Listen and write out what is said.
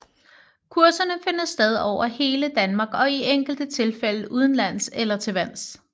Kurserne finder sted over hele Danmark og i enkelte tilfælde udenlands eller til vands